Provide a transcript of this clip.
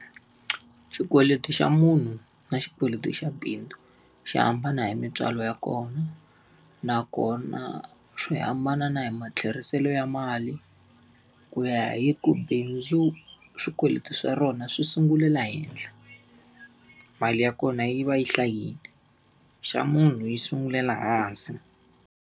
Xikweleti xa munhu na xikweleti xa bindzu xi hambana hi mintswalo ya kona, nakona swi hambana na hi matlheriselo ya mali. Ku ya hi ku bindzu swikweleti swa rona swi sungule la henhla, mali ya kona yi va yi hlayile. Xa munhu yi sungulela hansi.